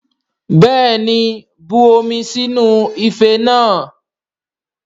Bẹ́ẹ̀ni, bu omi sínú ife náà